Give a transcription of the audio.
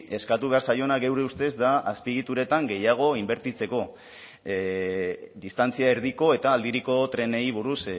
eskatu behar zaiona geure ustez da azpiegituretan gehiago inbertitzeko distantzia erdiko eta aldiriko trenei buruz